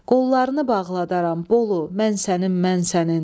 Qollarını bağladaram, Bolu, mən sənin, mən sənin.